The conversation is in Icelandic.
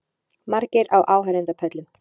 Margir á áheyrendapöllum